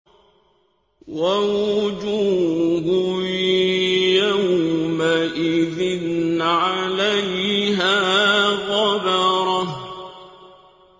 وَوُجُوهٌ يَوْمَئِذٍ عَلَيْهَا غَبَرَةٌ